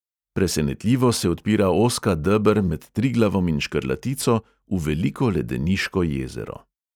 Presenetljivo se odpira ozka deber med triglavom in škrlatico v veliko ledeniško jezero.